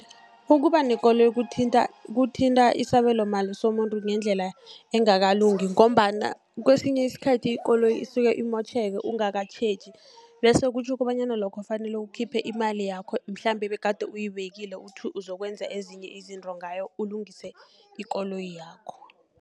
Ukuba nekoloyi kuthinta isabelo mali somuntu ngendlela engakalungi, ngombana kesinye isikhathi ikoloyi isuke imotjheke ungakatjheji, bese kutjho kobanyana lokho kufanele ukhiphe imali yakho mhlambe ebegade uyibekile uthu uzokwenza ezinye izinto ngayo, ulungise ikoloyi yakho.